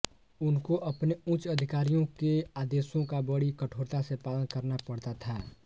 उनको अपने उच्च अधिकारियों के आदेशों का बड़ी कठोरता से पालन करना पड़ता था